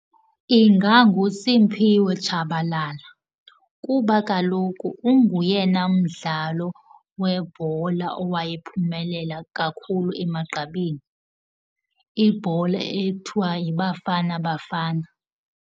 InganguSiphiwe Tshabalala kuba kaloku unguyena mdlalo webhola owayephumelela kakhulu emagqabini, ibhola ekuthiwa yiBafana Bafana.